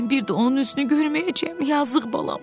Mən bir də onun üzünü görməyəcəm yazığ balam.